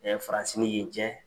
faransi ni yen cɛ.